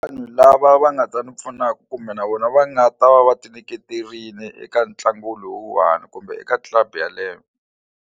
Vanhu lava va nga ta ni pfunaka kumbe na vona va nga ta va va ti nyiketerile eka ntlangu lowuwani kumbe eka club yeleyo.